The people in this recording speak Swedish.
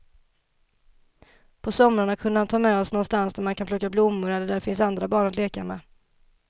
På somrarna kunde han ta med oss någonstans där man kan plocka blommor eller där det finns andra barn att leka med.